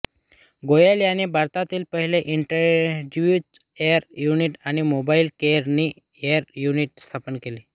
गोयल यांनी भारतातील पहिले इंटेन्सिव्ह केअर युनिट आणि मोबाइल कोरोनरी केअर युनिट स्थापन केले